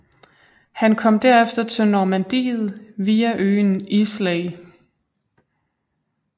Han kom derefter til Normandiet via øen Islay